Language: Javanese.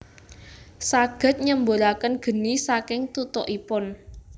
Saged nyemburaken geni saking tutukipun